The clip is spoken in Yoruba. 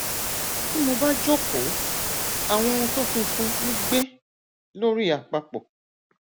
tí mo bá jókòó àwọn ohun tó funfun ń gbé lórí àpapọ